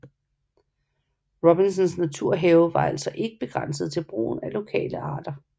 Robinsons naturhave var altså ikke begrænset til brugen af lokale arter